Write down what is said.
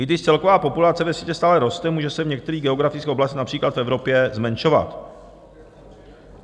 I když celková populace ve světě stále roste, může se v některých geografických oblastech, například v Evropě, zmenšovat.